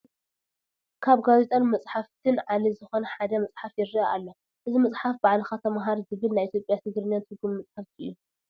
ካብ ጋዜጣን መፅሓፍትን ዓሌት ዝኾነ ሓደ መፅሓፍ ይረአ ኣሎ፡፡ እዚ መፅሓፍ ባዕልኻ ተምሃር ዝብል ናይ ኢንግሊዝኛ ትግርኛን ትርጉም መፅሓፍ እዩ፡፡